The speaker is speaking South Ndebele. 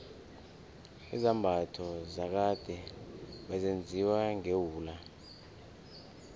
izambatho zakade bezenziwa ngewula